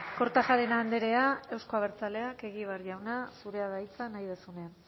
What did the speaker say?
kortajarena andrea euzko abertzaleak egibar jauna zurea da hitza nahi duzunean